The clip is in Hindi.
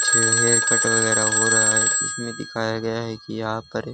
जो है कट वगैरह हो रहा है जिसमें दिखाया गया है कि आप करें पर --